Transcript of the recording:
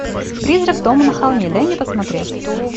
призрак дома на холме дай мне посмотреть